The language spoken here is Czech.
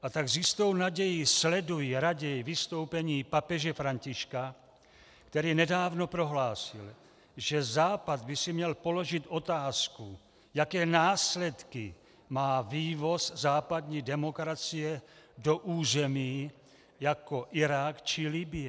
A tak s jistou nadějí sleduji raději vystoupení papeže Františka, který nedávno prohlásil, že Západ by si měl položit otázku, jaké následky má vývoz západní demokracie do území jako Irák či Libye.